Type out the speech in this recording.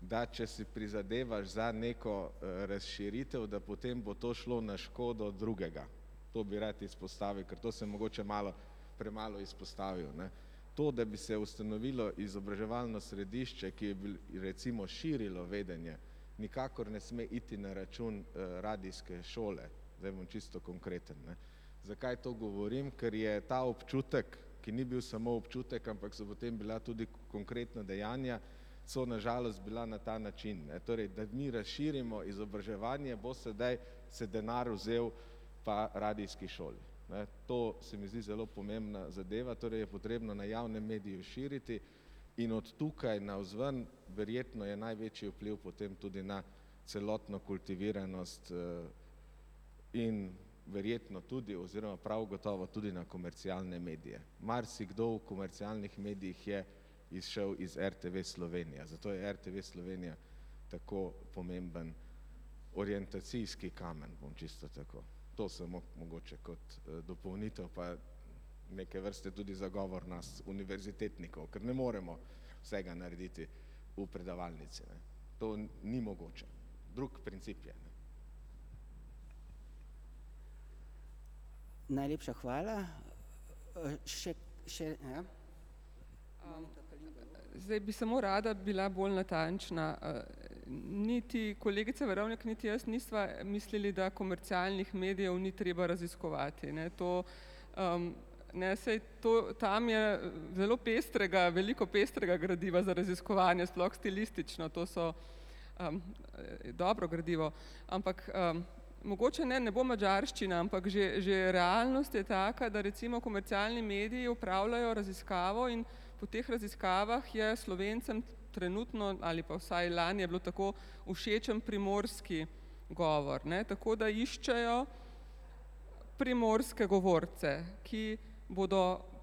da če si prizadevaš za neko razširitev, da potem bo to šlo na škodo drugega. To bi rad izpostavil, ker to sem mogoče malo premalo izpostavil, ne. To, da bi se ustanovilo izobraževalno središče, ki je recimo širilo vedenje, nikakor ne sme iti na račun radijske šole, zdaj bom čisto konkreten, ne. Zakaj to govorim? Ker je ta občutek, ki ni bil samo občutek, ampak so potem bila tudi konkretna dejanja, so na žalost bila na ta način, ne, torej, da mi razširimo izobraževanje, bo sedaj se denar vzel pa radijski šoli, ne. To se mi zdi zelo pomembna zadeva, torej je potrebno na javnem mediju širiti, in od tukaj navzven verjetno je največji vpliv potem tudi na celotno kultiviranost in verjetno tudi oziroma prav gotovo tudi na komercialne medije. Marsikdo v komercialnih medijih je izšel iz RTV Slovenija, zato je RTV Slovenija tako pomemben orientacijski kamen, bom čisto tako. To samo mogoče kot dopolnitev pa neke vrste tudi zagovor nas, univerzitetnikov, ker ne moremo vsega narediti v predavalnici, ne. To ni mogoče, drug princip je, ne. Najlepša hvala še, še, ja. Zdaj bi samo rada bila bolj natančna niti kolegica Verovnik niti jaz nisva mislili, da komercialnih medijev ni treba raziskovati, ne, to ne, saj, to, tam je zelo pestrega, veliko pestrega gradiva za raziskovanje, sploh stilistično, to so dobro gradivo. Ampak mogoče, ne, ne bo madžarščina, ampak že že realnost je taka, da recimo komercialni mediji opravljajo raziskavo in po teh raziskavah je Slovencem trenutno, ali pa vsaj lani je bilo tako, všečen primorski govor, ne, tako da iščejo primorske govorce, ki bodo